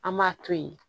An b'a to yen